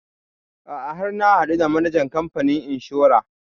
A'a har na haɗu da manajan kamfanin inshora